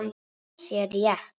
sé rétt.